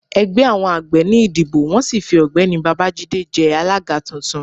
ẹgbẹ àwọn àgbẹ̀ ní ìdibọ wọn sì fí ọgbẹni bábájídé jé alága tuntun